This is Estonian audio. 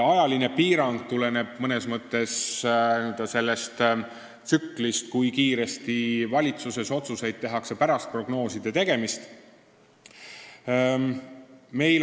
Ajaline piirang tuleneb mõnes mõttes sellest tsüklist, kui kiiresti tehakse valitsuses pärast prognooside tegemist otsuseid.